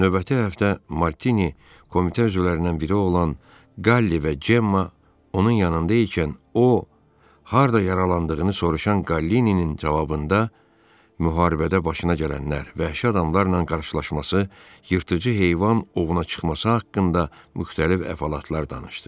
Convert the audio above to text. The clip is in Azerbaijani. Növbəti həftə Martini komitə üzvlərindən biri olan Qalli və Cemma onun yanında ikən o, harda yaralandığını soruşan Qallinin cavabında müharibədə başına gələnlər, vəhşi adamlarla qarşılaşması, yırtıcı heyvan ovuna çıxması haqqında müxtəlif əhvalatlar danışdı.